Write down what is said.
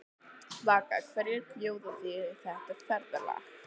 Vaka, hverjir bjóða í þetta ferðalag?